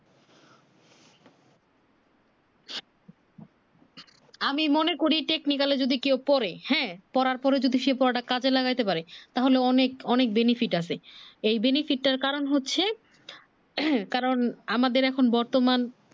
আমি মনে করি technical এ যদি কেউ পড়ে হ্যাঁ পড়ার পড়ে যদি সেপড়াটা কাজে লাগাইতে পারে তাহলে অনেক অনেক benefit আছে এই benefit টার কারণ হচ্ছে কারণ আমাদের এখন বর্তমান